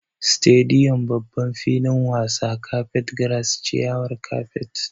Stadium=babban filin wasa, carpet grass=ciyawar kapet